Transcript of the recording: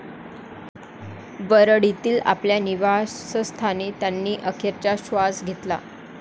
वरळीतील आपल्या निवासस्थानी त्यांनी अखेरचा श्वास घेतला.